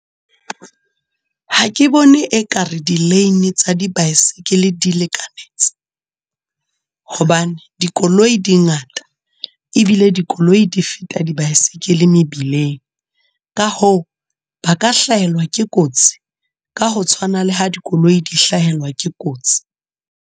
Ha ke bone ekare di-lane tsa di-bycycle di lekanetse. Hobane, dikoloi di ngata. Ebile dikoloi di feta di-bycycle mebileng. Ka hoo ba ka hlahelwa ke kotsi. Ka ho tshwana le ha dikoloi di hlahelwa ke kotsi.